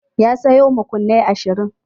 Ya sayo makunnai ashirin.